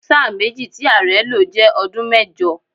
Sáà méjì tí ààrẹ́ lo jẹ́ ọdún mẹ́jọ.